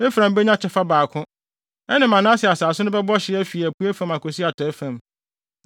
Efraim benya kyɛfa baako; ɛne Manase asase no bɛbɔ hye afi apuei fam akosi atɔe fam.